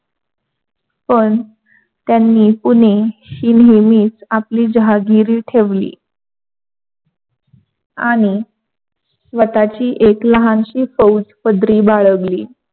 पण त्यांनी पुणेशी नेहमीच आपली जहागिरी ठेवली, आणि स्वताची एक लहानशी फौज पदरी बाळगली.